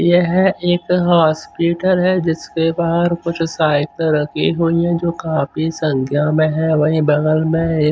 यह एक हॉस्पिटल है जिसके बाहर कुछ साइकिल रखी हुई हैं जो काफी संख्या में है वहीं बगल में एक--